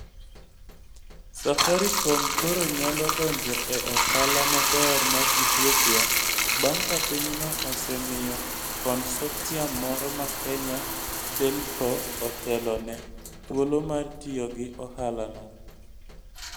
Safaricom koro nyalo donjo e ohala maber mar Ethiopia bang' ka pinyno osemiyo consortium moro ma Kenya telco otelo ne, thuolo mar tiyo gi ohalano.